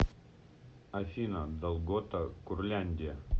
афина долгота курляндия